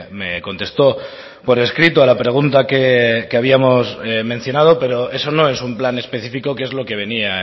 me contestó por escrito a la pregunta que habíamos mencionado pero eso no es un plan específico que es lo que venía